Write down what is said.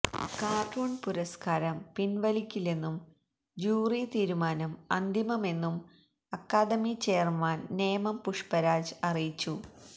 cartoon പുരസ്കാരം പിൻവലിക്കില്ലെന്നും jury തീരുമാനം അന്തിമമെന്നും അക്കാദമി ചെയർമാൻ നേമം പുഷ്പരാജ് അറിയിച്ചു